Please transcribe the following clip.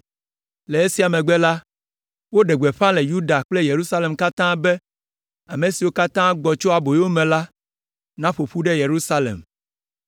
Le esia megbe la, woɖe gbeƒã le Yuda kple Yerusalem katã be ame siwo katã gbɔ tso aboyome la naƒo ƒu ɖe Yerusalem.